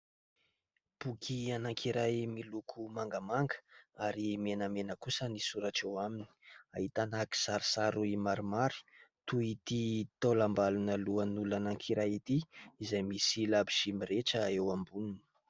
Boky anankiray miloko mangamanga ary menamena kosa ny soratra eo aminy, ahitana kisarisary maromaro toy ity taolambalona lohan' olona anankiray ity izay misy labozỳ mirehitra eo amboniny.